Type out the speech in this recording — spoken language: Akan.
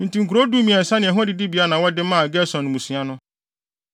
Enti nkurow dumiɛnsa ne ɛho adidibea na wɔde maa Gerson mmusua no.